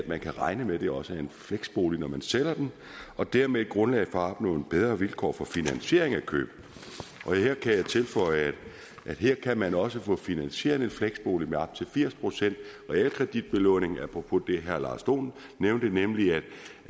man kan regne med at det også er en fleksbolig når man sælger den og dermed giver den grundlag for at opnå nogle bedre vilkår for finansiering af køb her kan jeg tilføje at man også kan få finansieret en fleksbolig med op til firs procent realkreditbelåning apropos det herre lars dohn nævnte nemlig at